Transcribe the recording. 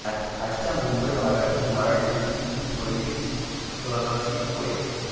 आजच्या मुंबई भागातील मराठ्यांची ही पहिली सरशी होय